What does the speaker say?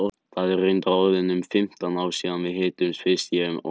Það eru reyndar orðin um fimmtán ár síðan við hittumst fyrst ég og maðurinn minn.